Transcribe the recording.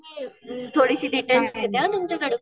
मी थोडीशी डिटेल घेते हा तुमच्याकडे.